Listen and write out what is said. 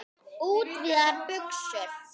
Útvíðar buxur.